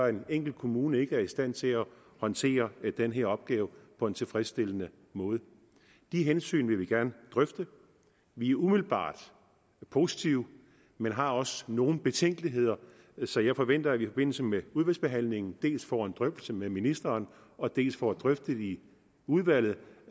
at en enkelt kommune ikke er i stand til at håndtere den her opgave på en tilfredsstillende måde de hensyn vil vi gerne drøfte vi er umiddelbart positive men har også nogle betænkeligheder så jeg forventer at vi i forbindelse med udvalgsbehandlingen dels får en drøftelse med ministeren og dels får drøftet i udvalget